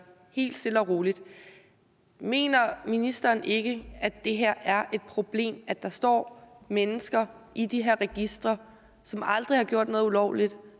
helt stille og roligt mener ministeren ikke at det her er et problem at der står mennesker i de her registre som aldrig har gjort noget ulovligt